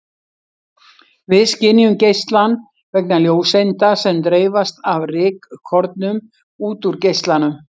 Við skynjum geislann vegna ljóseinda sem dreifast af rykkornum út úr geislanum.